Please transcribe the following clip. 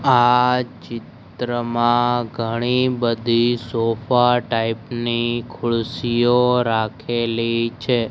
આ ચિત્રમાં ઘણી બધી સોફા ટાઈપ ની ખુરસીઓ રાખેલી છે.